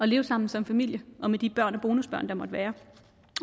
leve sammen som familie og med de børn og bonusbørn der måtte være